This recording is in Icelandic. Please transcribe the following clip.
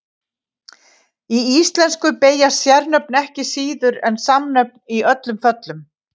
Í íslensku beygjast sérnöfn ekki síður en samnöfn í öllum föllum.